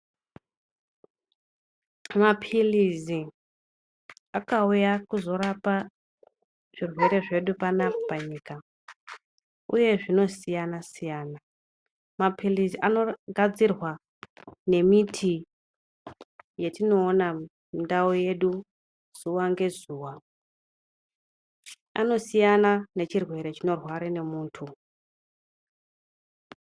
Maphilizi akauya kuzorapa zvirwere zvedu panapa panyika, uye zvinosiyana siyana. Maphilizi anogadzirwa ngemiti yatinoona mundau yedu zuwa ngezuwa, anosiyana nechirwere chinorwara ngemunhtu.